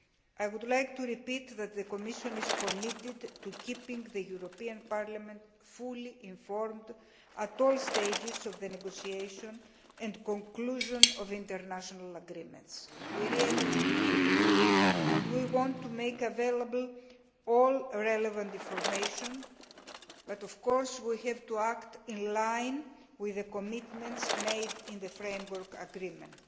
I would like to report that the Commission is committed to keeping the European Parliament fully informed at all stages of the negotiation and conclusion of international agreements. We really mean it, and we want to make available all relevant information, but we do have to act in line with the commitments made in the Framework Agreement.